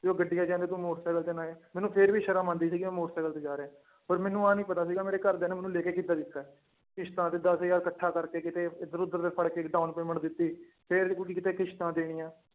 ਵੀ ਉਹ ਗੱਡੀਆਂ ਚ ਆਉਂਦੇ ਤੂੰ ਮੋਟਰ ਸਾਇਕਲ ਤੇ ਨੇ ਆਏ ਮੈਨੂੰ ਫਿਰ ਵੀ ਸ਼ਰਮ ਆਉਂਦੀ ਸੀਗੀ ਮੈਂ ਮੋਟਰ ਸਾਇਕਲ ਤੇ ਜਾ ਰਿਹਾਂ ਪਰ ਮੈਨੂੰ ਆਹ ਨੀ ਪਤਾ ਸੀਗਾ ਮੇਰੇ ਘਰਦਿਆਂ ਨੇ ਮੈਨੂੰ ਲੈ ਕੇ ਕਿੱਦਾਂ ਦਿੱਤਾ ਹੈ ਕਿਸ਼ਤਾ ਤੇ ਦਸ ਹਜ਼ਾਰ ਇਕੱਠਾ ਕਰਕੇ ਕਿਤੇ ਇੱਧਰ ਉੱਧਰ ਫੜਕੇ down payment ਦਿੱਤੀ ਫਿਰ ਕਿਤੇ ਕਿਸ਼ਤਾਂ ਦੇਣੀਆਂ